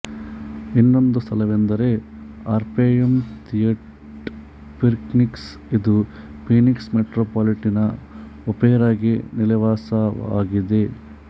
ಇನ್ನೊಂದು ಸ್ಥಳವೆಂದರೆ Orpheum theatre Phoenix ಇದು ಫೀನಿಕ್ಸ್ ಮೆಟ್ರೊಪಾಲಿಟನ್ ಒಪೆರಾ ಗೆ ನೆಲೆವಾಸವಾಗಿದೆ